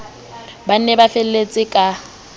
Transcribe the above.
ba ne ba felletse ka